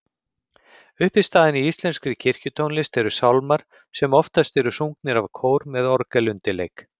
Uppistaðan í íslenskri kirkjutónlist eru sálmar sem oftast eru sungnir af kór með orgelundirleik.